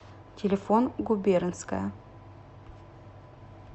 телефон губернская